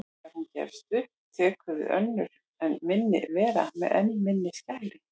Þegar hún gefst upp tekur við önnur enn minni vera með enn minni skæri.